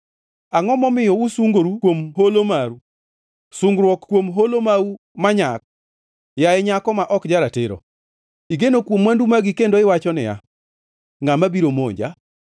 Angʼo momiyo usungoru kuom holo mau, sungruok kuom holo mau manyak? Yaye nyako ma ok ja-ratiro, igeno kuom mwandu magi kendo iwacho niya, Ngʼama biro monja?